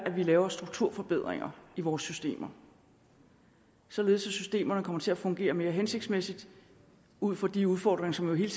at vi laver strukturforbedringer i vores systemer således at systemerne kommer til at fungere mere hensigtsmæssigt ud fra de udfordringer som jo hele